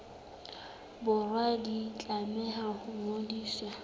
borwa di tlameha ho ngodiswa